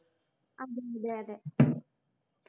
അതെ അതെ